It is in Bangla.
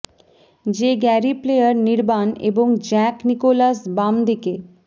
যে গ্যারি প্লেয়ার নির্বাণ এবং জ্যাক নিকোলাস বাম দিকে